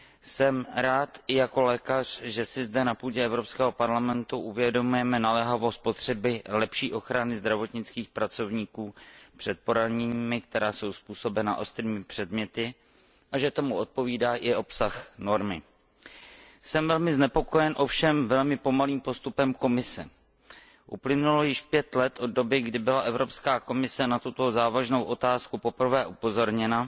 Jsem rád i jako lékař, že si zde, na půdě Evropského parlamentu, uvědomujeme naléhavost potřeby lepší ochrany zdravotnických pracovníků před poraněními, která jsou způsobena ostrými předměty, a že tomu odpovídá i obsah normy. Jsem velmi znepokojen ovšem velmi pomalým postupem Komise. Uplynulo již pět let od doby, kdy byla Evropská komise na tuto závažnou otázku poprvé upozorněna,